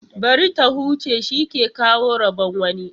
Bari ta huce, shi ke kawo rabon wani.